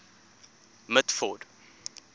mitford